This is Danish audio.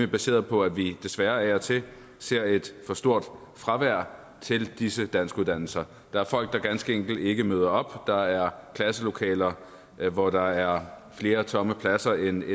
baseret på at vi desværre af og til ser et for stort fravær til disse danskuddannelser der er folk der ganske enkelt ikke møder op og der er klasselokaler hvor der er flere tomme pladser end